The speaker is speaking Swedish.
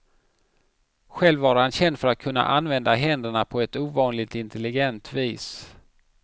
Själv var han känd för att kunna använda händerna på ett ovanligt intelligent vis.